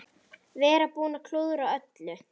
Vera búinn að klúðra öllu.